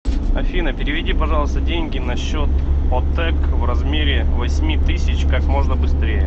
афина переведи пожалуйста деньги на счет отэк в размере восьми тысяч как можно быстрее